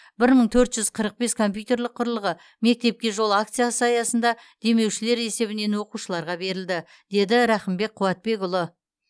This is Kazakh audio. бір мың төрт жүз қырық бес компьютерлік құрылғы мектепке жол акциясы аясында демеушілер есебінен оқушыларға берілді деді рақымбек қуатбекұлы